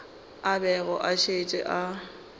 a bego a šetše a